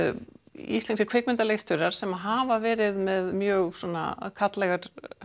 íslenskir kvikmyndaleikstjórar sem hafa verið með mjög svona karllæga